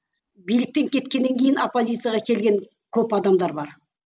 биліктен кеткеннен кейін оппозицияға келген көп адамдар бар